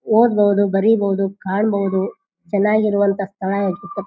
ಓದ್ಬಹುದು ಬರೀಬಹುದು ಕಾಣಬಹುದು ಚೆನ್ನಾಗಿರುವಂಥ ಸ್ಥಳ --